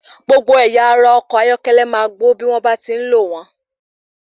Gbogbo ẹ̀yà ara ọkọ̀ ayọ́kẹ́lẹ́ máa gbó bí wón bá ti ń lò wn.